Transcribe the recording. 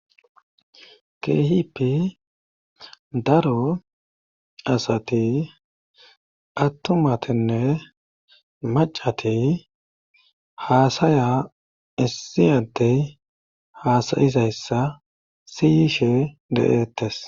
kehipi daro asati attumatinne macati haasaya issi addey haasayizayssa siyishe de'ettes